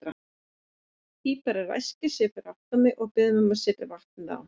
Píparinn ræskir sig fyrir aftan mig og biður mig að setja vatnið á.